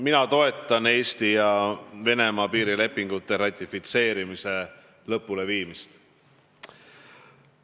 Mina toetan Eesti ja Venemaa piirilepingute ratifitseerimise lõpuleviimist.